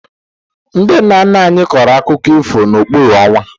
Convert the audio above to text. Ndị nna nna anyị kọrọ akụkọ ifo n'okpuru ọnwa